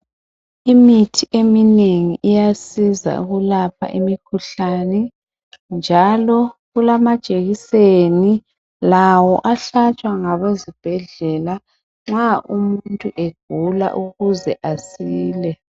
Imithi eminengi iyasiza ukulapha imikhuhlane, njalo kulama jekiseni lawo ahlatshwa ngabezibhedlela nxa umuntu egula ukuze asile.